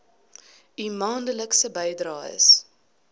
u maandelikse bydraes